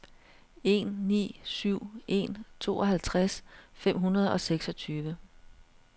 en ni syv en tooghalvtreds fem hundrede og seksogtyve